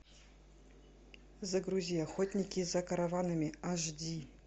загрузи охотники за караванами аш ди